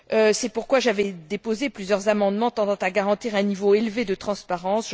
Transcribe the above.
C'est pourquoi j'avais déposé plusieurs amendements tendant à garantir un niveau élevé de transparence.